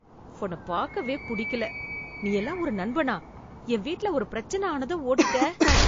உன்ன பாக்கவே புடிக்கல. நீயெல்லாம் ஒரு நண்பனா. என் வீட்ல ஒரு பிரச்சனை ஆனதும் ஓடிட்ட.